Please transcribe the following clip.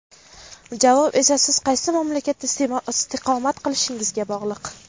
Javob esa siz qaysi mamlakatda istiqomat qilishingizga bog‘liq.